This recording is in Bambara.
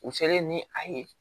U selen ni a ye